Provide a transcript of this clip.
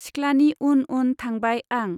सिख्लानि उन उन थांबाय आं।